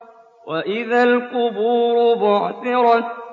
وَإِذَا الْقُبُورُ بُعْثِرَتْ